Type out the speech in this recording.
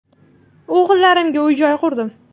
O‘g‘illarimga uy-joy qurdim.